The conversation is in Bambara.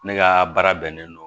Ne ka baara bɛnnen don